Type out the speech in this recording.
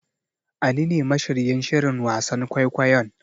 Ali ne mashiryin shirin wasan kwaikwayon.